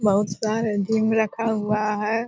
बहुत सारे रखा हुआ है।